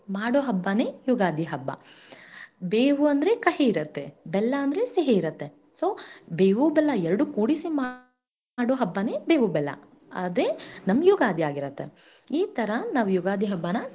ಮಾಡು ಹಬ್ಬನೇ ಯುಗಾದಿ ಹಬ್ಬ ಬೇವು ಅಂದ್ರೆ ಕಹಿ ಇರುತ್ತೆ ಬೆಲ್ಲ ಅಂದ್ರೆ ಸಿಹಿ ಇರತ್ತೆ So ಬೇವು-ಬೆಲ್ಲ ಎರಡು ಕೂಡಿಸಿ ಮಾಡೋ ಹಬ್ಬನೇ ಬೇವು-ಬೆಲ್ಲ ಅದೇನಮ್ಮ ಯುಗಾದಿ ಆಗಿರತ್ತೆ ಈ ತರಾ ನಾವು ಯುಗಾದಿಹಬ್ಬನ.